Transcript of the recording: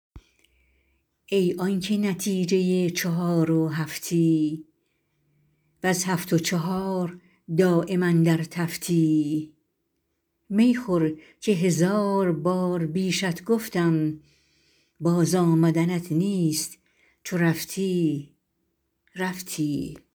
ای آنکه نتیجه چهار و هفتی وز هفت و چهار دایم اندر تفتی می خور که هزار بار بیشت گفتم باز آمدنت نیست چو رفتی رفتی